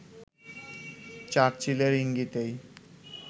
চার্চিলের ইঙ্গিতেই